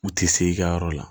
U ti se i ka yɔrɔ la